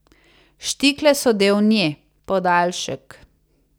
Štikle so del nje, podaljšek.